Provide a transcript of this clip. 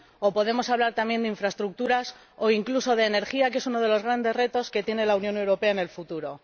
O podemos hablar también de infraestructuras o incluso de energía, que es uno de los grandes retos que tiene la Unión Europea en el futuro.